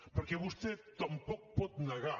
perquè vostè tampoc pot negar